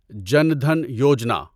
جن دھن یوجنا